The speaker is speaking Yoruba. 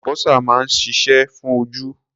Àlùbósà máa ń ṣiṣẹ́ fún ojú.